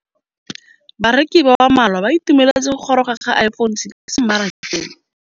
Bareki ba ba malwa ba ituemeletse go gôrôga ga Iphone6 kwa mmarakeng.